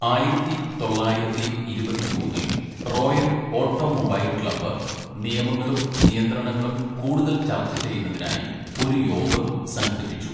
ആയിരത്തി തൊള്ളായിരത്തി ഇരുപത്തിമൂന്നില്‍ റോയൽ ഓട്ടോമൊബൈൽ ക്ലബ് നിയമങ്ങളും നിയന്ത്രണങ്ങളും കൂടുതൽ ചർച്ച ചെയ്യുന്നതിനായി ഒരു യോഗം സംഘടിപ്പിച്ചു.